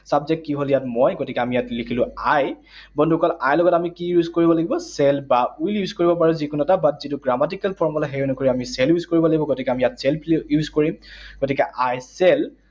Subject কি হল ইয়াত? মই, গতিকে আমি লিখিলো ইয়াত I, বন্ধুসকল I লগত আমি কি use কৰিব লাগিব? Shall বা will use কৰিব পাৰোঁ যিকোনো এটা, but যিটো grammatical formula, সেই অনুসৰি আমি shall use কৰিব লাগিব। গতিকে আমি ইয়াত shall use কৰিম। গতিকে I shall